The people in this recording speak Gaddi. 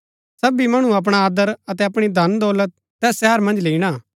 सबी मणु अपणा आदर अतै अपणी धन दौलत तैस शहरा मन्ज लैईणा